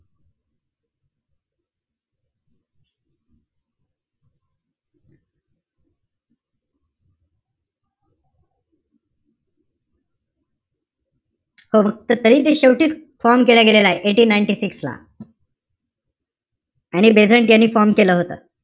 हो फक्त तरी ते शेवटीच form केला गेलेला आहे. eighteen-ninetysix ला. ऍनी बेझंट यांनी form केलं होतं.